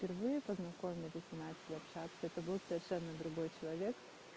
впервые познакомились и начали общаться это был совершенно другой человек